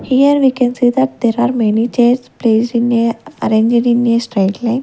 here we can see that there are many chairs placed in a arranged in a straight line.